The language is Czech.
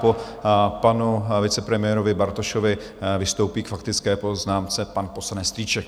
Po panu vicepremiérovi Bartošovi vystoupí k faktické poznámce pan poslanec Strýček.